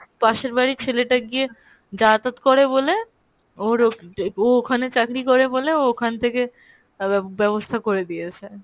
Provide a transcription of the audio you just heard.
পাশের বাড়ির ছেলেটা গিয়ে যাতায়াত করে বলে ওর ও ওখানে চাকরি করে বলে ও ওখান থেকে আব্যাব~ বেবস্থা করে দিয়েছে।